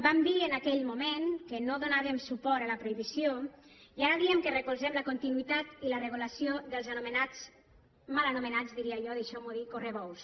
vam dir en aquell moment que no donàvem suport a la prohibició i ara diem que recolzem la continuïtat i la regulació dels anomenats mal anomenats diria jo deixeu m’ho dir correbous